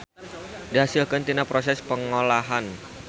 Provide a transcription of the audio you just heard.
Dihasilkeun tina proses pengolahan.